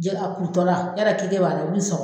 Jɛgɛ a kurutɔ la yɔrɔ keke b'a la u b'i sɔgɔ.